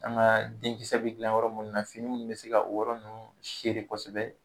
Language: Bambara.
An ga denkisɛ be gilan yɔrɔ minnu na fini minnu be se ga o yɔrɔ ninnu sere kosɛbɛ